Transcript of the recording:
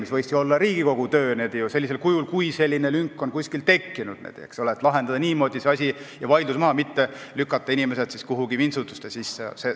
See võikski olla Riigikogu töö sellisel kujul, et kui selline lünk on kuskil tekkinud, siis lahendada niimoodi see asi ja võtta vaidlus maha, mitte lükata inimesi kuhugi vintsutuste sisse.